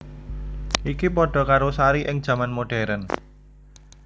Iki padha karo Sari ing jaman modern